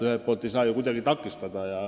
Ühelt poolt ei saa neid ju kuidagi takistada.